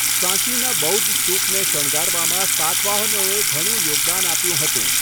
સાંચીના બૌદ્ધ સ્તૂપને શણગારવામાં સાતવાહનોએ ઘણું યોગદાન આપ્યું હતું.